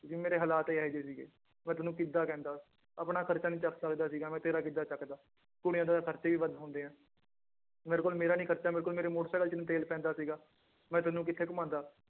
ਵੀ ਮੇਰੇ ਹਾਲਾਤ ਇਹ ਜਿਹੇ ਸੀਗੇ ਮੈਂ ਤੈਨੂੰ ਕਿੱਦਾਂ ਕਹਿੰਦਾ ਆਪਣਾ ਖ਼ਰਚਾ ਨੀ ਚੁੱਕ ਸਕਦਾ ਸੀਗਾ ਮੈਂ ਤੇਰਾ ਕਿੱਦਾਂ ਚੁੱਕਦਾ ਕੁੜੀਆਂ ਦੇ ਤਾਂ ਖ਼ਰਚੇ ਵੀ ਵੱਧ ਹੁੰਦੇ ਹੈ ਮੇਰੇ ਕੋਲ ਮੇਰਾ ਨੀ ਖ਼ਰਚਾ ਮੇਰੇ ਕੋਲ ਮੇਰੇ ਮੋਟਰ ਸਾਇਕਲ ਚ ਨੀ ਤੇਲ ਪੈਂਦਾ ਸੀਗਾ ਮੈਂ ਤੈਨੂੰ ਕਿੱਥੇ ਘੁਮਾਉਂਦਾ